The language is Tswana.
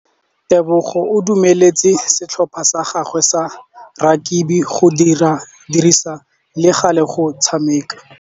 Tebogô o dumeletse setlhopha sa gagwe sa rakabi go dirisa le galê go tshameka.